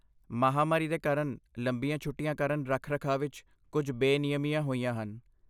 ਮਹਾਂਮਾਰੀ ਦੇ ਕਾਰਨ ਲੰਬੀਆਂ ਛੁਟੀਆਂ ਕਾਰਨ ਰੱਖ ਰਖਾਅ ਵਿੱਚ ਕੁੱਝ ਬੇਨਿਯਮੀਆਂ ਹੋਈਆਂ ਹਨ